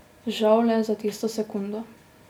Žal le za tisto sekundo.